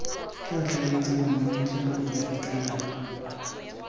tla tlhaeletsana mametlelelo efe kana